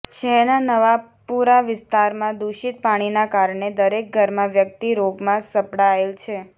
શહેરનાં નવાપુરા વિસ્તારમાં દુષિત પાણીનાં કારણે દરેક ઘરમાં વ્યકિત રોગમાં સપડાયેલ છે